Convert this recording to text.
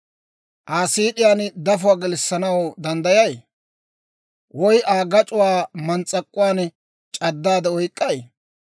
Aa siid'iyaan dafuwaa gelissanaw danddayay? Woy Aa gac'uwaa mans's'ak'uwaan c'addaade oyk'k'ay?